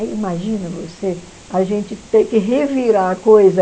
Aí imagina você, a gente ter que revirar a coisa